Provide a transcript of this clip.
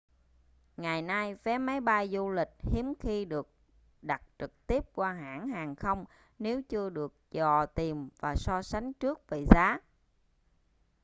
ngày nay vé máy bay du lịch hiếm khi được đặt trực tiếp qua hãng hàng không nếu chưa được dò tìm và so sánh trước về giá